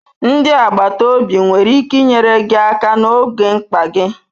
Ndi agbata obi nwere ike inyere gị aka n'oge mkpa gị.